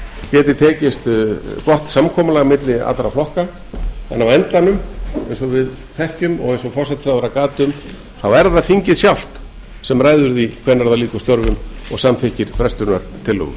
geti tekist gott samkomulag milli allra flokka þannig að á endanum eins og við þekkjum og eins og forsætisráðherra gat um þá er það þingið sjálft sem ræður því hvenær það lýkur störfum og samþykkir frestunartillögu